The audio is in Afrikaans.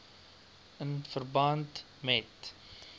in verband met